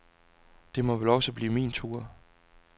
Det må vel også blive min tur.